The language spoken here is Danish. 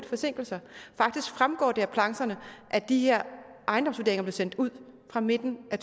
forsinkelser faktisk fremgår det af plancherne at de her ejendomsvurderinger bliver sendt ud fra midten af